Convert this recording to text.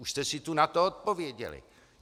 Už jste si tu na to odpověděli!